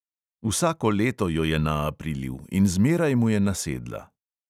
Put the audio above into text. Vsako leto jo je naaprilil in zmeraj mu je nasedla.